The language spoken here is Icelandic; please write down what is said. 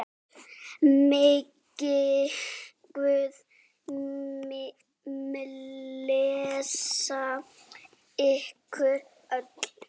Megi Guð blessa ykkur öll.